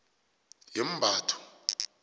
yemmabatho